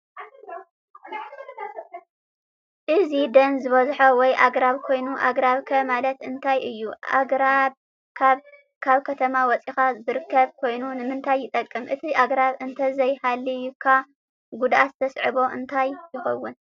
እዚ ደን ዝበዝሖ ወይ አግራብ ኮይኑ አግረብ ኸ ማለት እንታይ እዪ አግረብ ካብ ከተማ ወፂካ ዝርከብ ኮይኑ ንምታይ ይጠቀም አቲ አግራብ እንተዘይ ሃልይከ ጉዳት ዝስዐቦ እንታይ ይከውን?